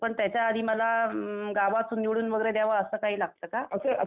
पण त्याच्या आधी मला गावातून निवडून वगैरे द्यावं असं काही लागतं का?